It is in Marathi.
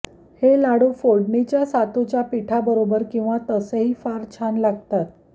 हे लाडू फोडणीच्या सातूच्या पीठाबरोबर किंवा तसेही फार छान लागतात